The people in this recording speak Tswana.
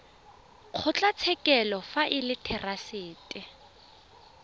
kgotlatshekelo fa e le therasete